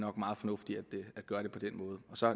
er meget fornuftigt at gøre det på den måde